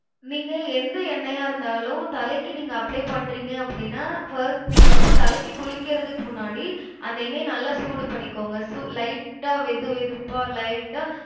நீங்க எந்த எண்ணெய்யா இருந்தாலும் தலைக்கு நீங்க apply பண்றீங்க அப்டினா first நீங்க வந்து தலைக்கு குளிக்கிறதுக்கு முன்னாடி அந்த எண்ணெய நல்லா சூடு பண்ணிக்கோங்க சு~ light ஆ வெதுவெதுப்பா light ஆ